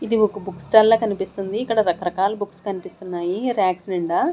ఇది ఒక book stall లా కనిపిస్తుంది ఇక్కడ రకరకాల బుక్స్ కనిపిస్తున్నాయి ర్యాక్స్ నిండ.